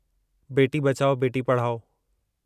बेटी बचाओ बेटी पढ़ाओ